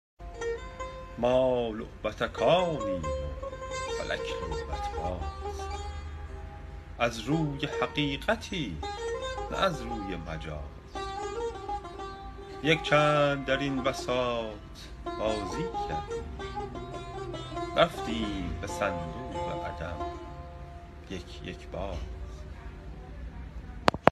ما لعبتکانیم و فلک لعبت باز از روی حقیقتی نه از روی مجاز یک چند در این بساط بازی کردیم رفتیم به صندوق عدم یک یک باز